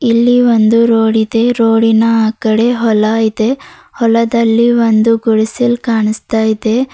ಇಲ್ಲಿ ಒಂದು ರೋಡ್ ಇದೆ ರೋಡಿನ ಆ ಕಡೆ ಹೊಲ ಇದೆ ಹೊಲದಲ್ಲಿ ಒಂದು ಗುಡಿಸಲ್ ಕಾಣಿಸ್ತಾ ಇದೆ.